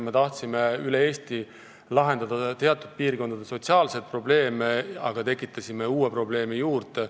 Me tahtsime üle Eesti lahendada teatud piirkondade sotsiaalseid probleeme, aga tekitasime uue probleemi juurde.